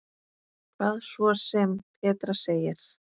Hvað svo sem Petra segir.